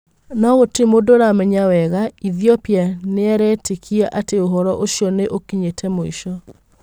No gũtĩrĩ mũndũũramenya wega ĩthĩopia, nĩaretĩkia atĩ ũhoro ũcio nĩ ũkinyĩte mũico.